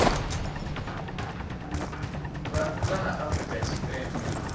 vha nnḓa ha afrika tshipembe